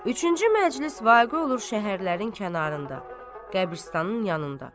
Üçüncü məclis vaqi olur şəhərlərin kənarında, qəbristanın yanında.